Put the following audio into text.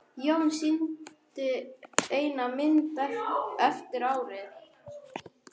Jón sýndi eina mynd eftir árið.